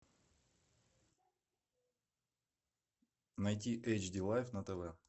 найти эйчди лайф на тв